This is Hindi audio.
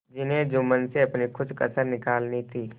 जिन्हें जुम्मन से अपनी कुछ कसर निकालनी थी